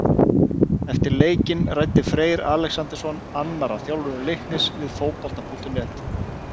Eftir leikinn ræddi Freyr Alexandersson, annar af þjálfurum Leiknis, við Fótbolta.net.